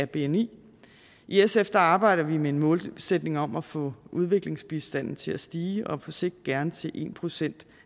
bni i sf arbejder vi med en målsætning om at få udviklingsbistanden til at stige og på sigt gerne til en procent